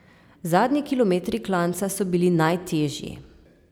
Zadnji kilometri klanca so bili najtežji.